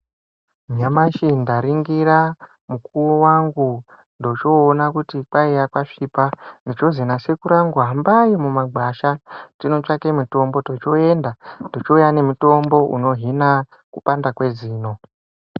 Nyamashi ndaringira mukuwo wangu, ndochoona kuti kwaiya kwasvipa, ndochozi nasekuru angu hambai mumagwasha totsvake mitombo. Tochoenda, tochouya nemitombo unohina kupanda kwezino.